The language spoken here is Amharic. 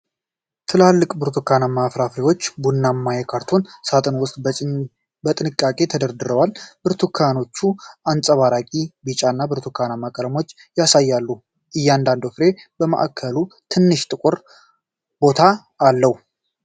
ትላልቅ ብርቱካንማ ፍራፍሬዎች ቡናማ የካርቶን ሣጥን ውስጥ በጥንቃቄ ተደርድረዋል። ብርቱካኖቹ አንጸባራቂ፣ ቢጫ እና ብርቱካንማ ቀለሞችን ያሳያሉ፤ እያንዳንዱ ፍሬ በማዕከሉ ትንሽ ጥቁር ቦታ አለው።